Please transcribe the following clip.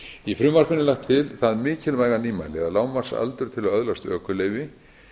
í frumvarpinu er lagt til það mikilvæga nýmæli að lágmarksaldur til að öðlast ökuleyfi